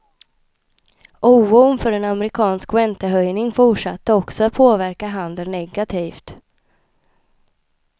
Oron för en amerikansk räntehöjning fortsatte också att påverka handeln negativt.